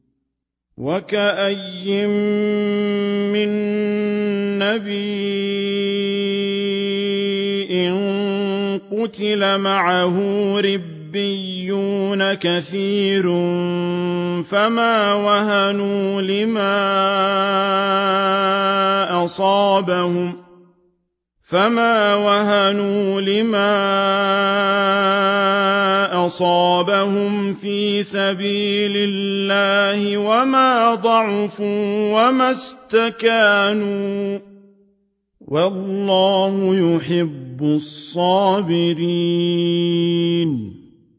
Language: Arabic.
وَكَأَيِّن مِّن نَّبِيٍّ قَاتَلَ مَعَهُ رِبِّيُّونَ كَثِيرٌ فَمَا وَهَنُوا لِمَا أَصَابَهُمْ فِي سَبِيلِ اللَّهِ وَمَا ضَعُفُوا وَمَا اسْتَكَانُوا ۗ وَاللَّهُ يُحِبُّ الصَّابِرِينَ